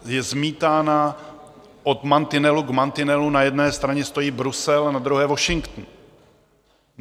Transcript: Je zmítána od mantinelu k mantinelu, na jedné straně stojí Brusel a na druhé Washington.